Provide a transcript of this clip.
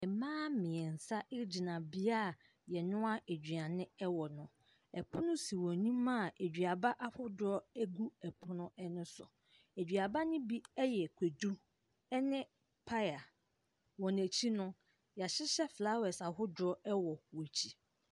Mmaa mmiɛnsa gyina bea a yɛnoa aduane wɔ no. Pono si wɔn anim a aduaba gu pono ne so. Aduaba ne bi yɛ kwadu ne paya, wɔn akyi no, yɛahyehyɛ flowers ahodoɔ wɔ wɔn akyi.